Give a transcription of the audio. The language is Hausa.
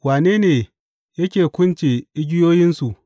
Wane ne yake kunce igiyoyinsu?